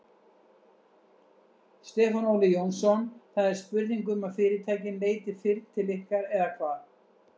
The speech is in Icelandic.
Stefán Óli Jónsson: Það er spurning um að fyrirtækin leiti fyrr til ykkar eða hvað?